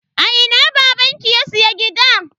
A ina babanki ya siya gida?